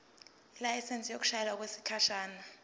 ilayisensi yokushayela okwesikhashana